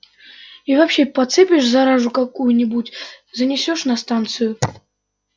и вообще подцепишь заразу какую-нибудь занесёшь на станцию